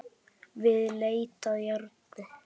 Við leit að járni